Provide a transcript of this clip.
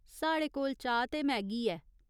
साढ़े कोल चाह् ते मैगी ऐ।